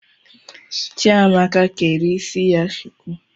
Chiamaka kere isi ya shuku